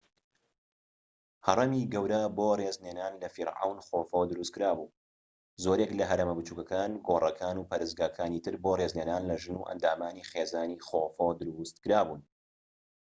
هەڕەمی گەورە بۆ ڕێزلێنان لە فیرعەون خۆفو دروستکرا بوو و زۆرێک لە هەرەمە بچووکەکان گۆڕەکان و پەرستگاکانی تر بۆ ڕێزلێنان لە ژن و ئەندامانی خێزانی خۆفو دروستکرا بوون